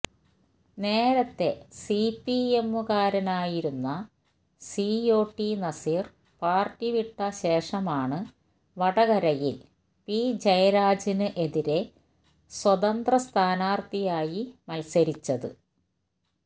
നേരത്തെ സിപിഎമ്മുകാരനായിരുന്ന COT Naseer party വിട്ട ശേഷമാണ് വടകരയില് പി ജയരാജന് എതിരെ സ്വതന്ത്ര സ്ഥാനാര്ത്ഥിയായി മത്സരിച്ചത്